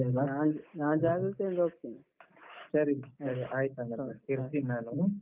ನಾನ್ ನಾನ್ ಜಾಗೃತೆಯಲ್ಲಿ ಹೋಗ್ತೇನೆ. ಸರಿ ಆಯ್ತು ಹಾಗಾದ್ರೆ. ಇಡ್ತೀನಿ ನಾನು.